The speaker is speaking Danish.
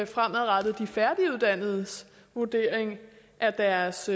fremadrettet de færdiguddannedes vurdering af deres